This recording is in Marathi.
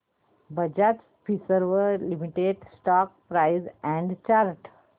Bajaj Finserv limited stock price and chart